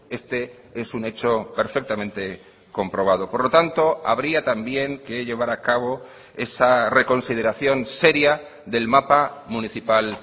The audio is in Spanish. este es un hecho perfectamente comprobado por lo tanto habría también que llevar a cabo esa reconsideración seria del mapa municipal